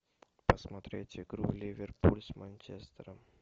посмотреть игру ливерпуль с манчестером